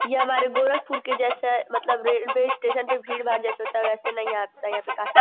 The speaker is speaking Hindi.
ये हमारे गोरखपुर के जैसा मतलब रेलवे स्टेशन पे भीड़-भाड़ जैसे होता है वैसे नहीं आता यहां पे काफी --